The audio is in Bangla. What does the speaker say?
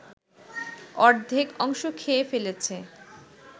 অর্ধেক অংশ খেয়ে ফেলেছে